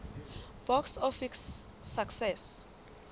box office success